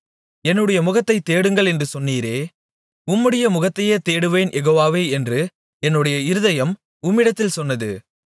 என்னுடைய முகத்தைத் தேடுங்கள் என்று சொன்னீரே உம்முடைய முகத்தையே தேடுவேன் யெகோவாவே என்று என்னுடைய இருதயம் உம்மிடத்தில் சொன்னது